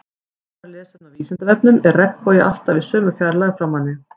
Frekara lesefni á Vísindavefnum Er regnbogi alltaf í sömu fjarlægð frá manni?